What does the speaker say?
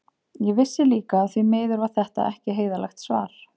Ég vissi líka að því miður var þetta ekki heiðarlegt svar.